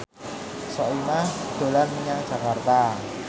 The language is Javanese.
Soimah dolan menyang Jakarta